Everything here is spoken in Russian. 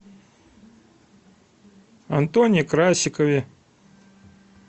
антоне красикове